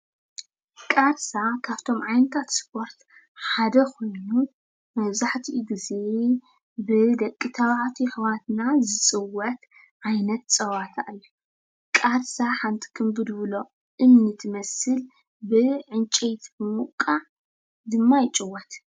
ቃርሳ ካብቶም ዓይነታት ስፖርት ሓደ ኾይኑ መብዛሕትኡ ግዜ ብደቂ ተባዕትዮ ኣሕዋትና ዝፅወት ዓይነት ፀወታ እዩ፡፡ ቃርሳ ሓንቲ ክምብልብሎ እምኒ ትመስል ብዕንጨይቲ ብምውቃዕ ድማ ይጭወት፡፡